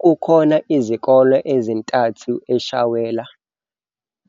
Kukhona izikole ezintathu eShawela,